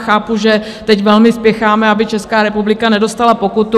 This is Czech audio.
Chápu, že teď velmi spěcháme, aby Česká republika nedostala pokutu.